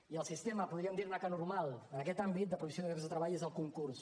i el sistema podríem dir ne que normal en aquest àmbit de provisió de llocs de treball és el concurs